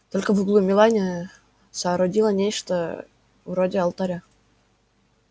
только в углу мелани соорудила нечто вроде алтаря